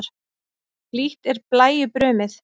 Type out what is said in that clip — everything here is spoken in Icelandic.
Blítt er blæju brumið.